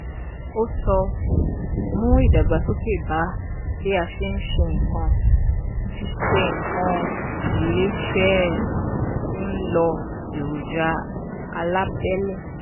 ó sọ: mú ìdàgbàsókè bá bí a ṣe ń ṣe nǹkan ṣe nǹkan iléeṣẹ́ n lo èròjà alábẹ́lé.